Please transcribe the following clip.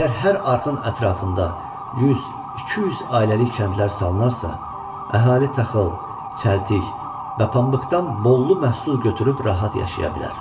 Əgər hər arxın ətrafında 100-200 ailəlik kəndlər salınarsa, əhali taxıl, çəltik və pambıqdan bollu məhsul götürüb rahat yaşaya bilər.